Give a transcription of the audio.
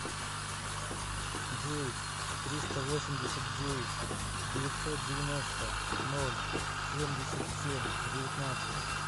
девять триста восемьдесят девять девятьсот девяносто ноль семьдесят семь девятнадцать